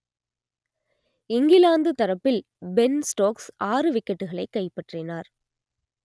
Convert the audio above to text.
இங்கிலாந்து தரப்பில் Ben Stokes ஆறு விக்கெட்டுகளை கைப்பற்றினார்